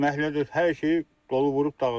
Məhlə də, hər şeyi dolu vurub dağıdıb.